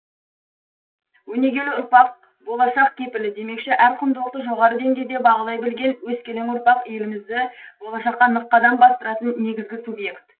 өнегелі ұрпақ болашақ кепілі демекші әр құндылықты жоғары деңгейде бағалай білген өскелең ұрпақ елімізді болашаққа нық қадам бастыратын негізгі субьект